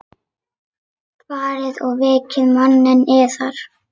Farið og vekið manninn yðar.